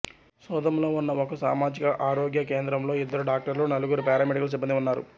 సోదంలో ఉన్న ఒక సామాజిక ఆరోగ్య కేంద్రంలో ఇద్దరు డాక్టర్లు నలుగురు పారామెడికల్ సిబ్బందీ ఉన్నారు